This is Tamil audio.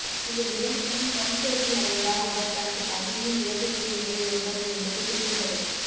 இந்த இரண்டிலும் டிரம்ப் தோல்வி அடைந்தால் அவர் தனது பதவியை இழக்க வேண்டிய நிலை ஏற்படும் என்பது குறிப்பிடத்தக்கது